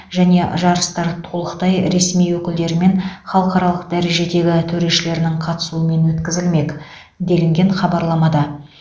және жарыстар толықтай ресми өкілдері мен халықаралық дәрежедегі төрешілерінің қатысуымен өткізілмек делінген хабарламада